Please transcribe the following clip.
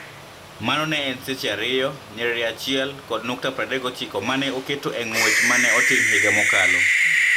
Mano ne en 2:01:39 ma ne oketo e ng'wech ma ne otim higa mokalo.